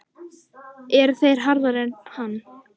Eru þeir harðari en hann?